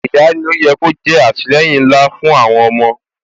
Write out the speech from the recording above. Ìyá ni ó yẹ kó jẹ́ àtìleyìn ńlá fún àwọn ọmọ